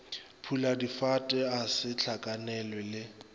puladifate a se hlakanelwe le